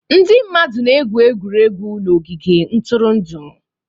Ndị mmadụ na-egwu egwuregwu n'ogige ntụrụndụ.